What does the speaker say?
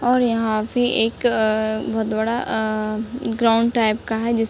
और यहाँ पे एक अ बहोत बड़ा अ ग्राउंड टाइप का है जिस --